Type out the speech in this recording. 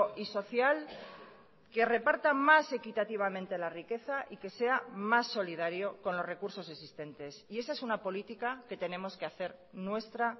y social que reparta más equitativamente la riqueza y que sea más solidario con los recursos existentes y esa es una política que tenemos que hacer nuestra